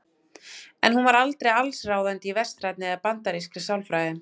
En hún var aldrei allsráðandi í vestrænni eða bandarískri sálfræði.